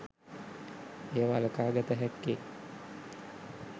එය වළකා ගත හැක්කේ